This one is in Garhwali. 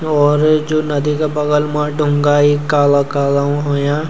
और जु नदी का बगल मा ढुंगा इ काला-काला उन हुयां।